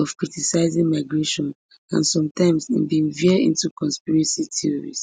of criticizing migration and sometimes im bin veer into conspiracy theories